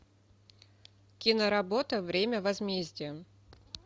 киноработа время возмездия